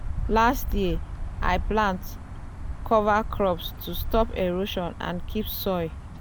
last year i plant cover crops to stop erosion and keep soil good.